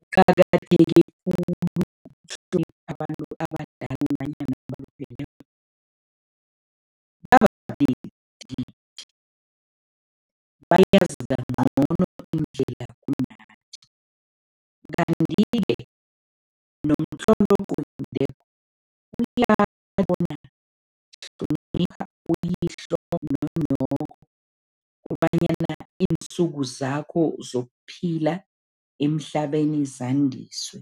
Kuqakatheke khulu abantu abadala nanyana abalupheleko bangabhadeli ithikithi indlela kunathi. Kanti-ke nomtlolo ocwengileko, uyatjho bona hlonipha uyihlo nonyoko kobanyana iinsuku zakho zokuphila emhlabeni zandiswe.